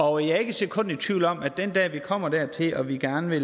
og jeg er ikke et sekund i tvivl om at den dag vi kommer dertil hvor vi gerne